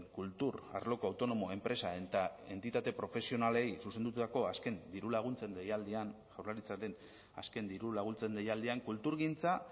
kultur arloko autonomo enpresa eta entitate profesionalei zuzendutako azken dirulaguntzen deialdian jaurlaritzaren azken dirulaguntzen deialdian kulturgintza